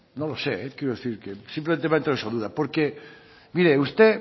no lo sé quiero decir simplemente me ha entrado esa duda porque usted